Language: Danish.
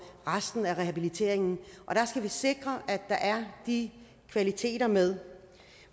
resten af rehabiliteringen og der skal vi sikre at der er de kvaliteter med